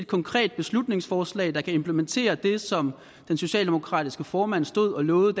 konkret beslutningsforslag der kan implementere det som den socialdemokratiske formand stod og lovede